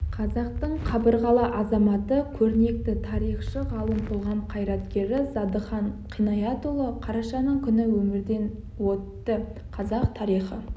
қазақтың қабырғалы азаматы көрнекті тарихшы ғалым қоғам қайраткері зардыхан қинаятұлы қарашаның күні өмірден өтті қазақ тарихы